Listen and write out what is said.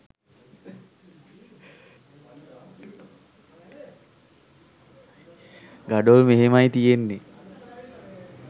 ගඩොල් මෙහෙමයි තියන්නේ